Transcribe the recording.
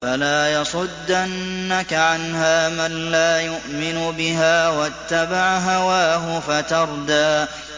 فَلَا يَصُدَّنَّكَ عَنْهَا مَن لَّا يُؤْمِنُ بِهَا وَاتَّبَعَ هَوَاهُ فَتَرْدَىٰ